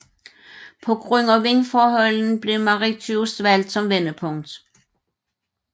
På grund af vindforholdene blev Mauritius valgt som vendepunkt